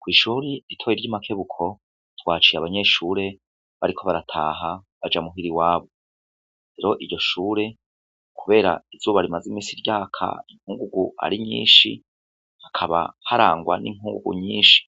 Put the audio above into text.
Kw'ishuri itoye ry'imakebuko twaciye abanyeshure bariko barataha baja muhira iwabo rero iryo shure, kubera izuba rimaze imisi ryaka inkungugu ari nyinshi hakaba harangwa n'inkungugu nyinshi